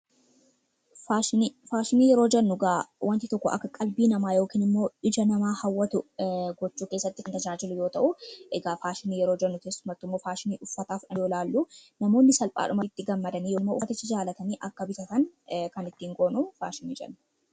Faashinii: Faashinii yeroo jennu egaa wanti tokko akka qalbii namaa yookiin immoo ija namaa hawwatu gochuu keessatti kan tajaajilu yoo ta'u, egaa faashinii yeroo jennu keessumattuu immoo faashinii uffataaf oolu namoonni salphaadhumatti itti gammadanii yoo uffaticha jaalatanii akka bitatan kan ittiin goonu faashinii jenna.